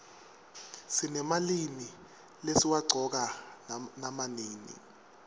sinemalimi lesiwaqcoka nama nini